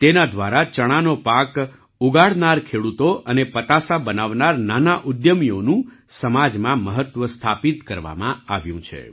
તેના દ્વારા ચણાનો પાક ઉગાડનાર ખેડૂતો અને પતાસા બનાવનાર નાનાં ઉદ્યમીઓનું સમાજમાં મહત્ત્વ સ્થાપિત કરવામાં આવ્યું છે